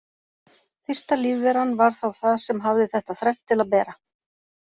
Fyrsta lífveran var þá það sem hafði þetta þrennt til að bera.